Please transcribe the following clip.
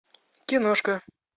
киношка